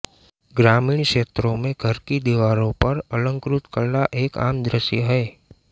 ग्रामीण क्षेत्रों में घर की दीवारों पर अलंकृत कला एक आम दृश्य है